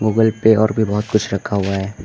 Google पे और भी बहुत कुछ रखा हुआ है।